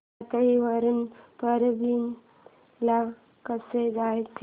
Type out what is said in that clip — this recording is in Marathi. परळी वरून परभणी ला कसं जायचं